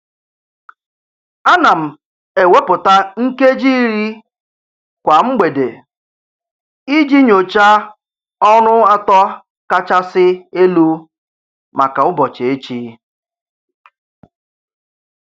A na m ewepụta nkeji iri kwa mgbede iji nyochaa ọrụ atọ kachasị elu maka ụbọchị echi.